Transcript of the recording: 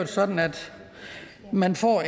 sådan at man får